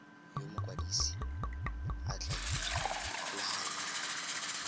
yo mokwadise a tla ikgolaganyang